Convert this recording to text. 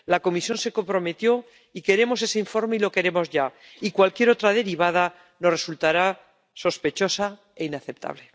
La Comisión se comprometió y queremos ese informe y lo queremos ya, y cualquier otra derivada nos resultará sospechosa e inaceptable.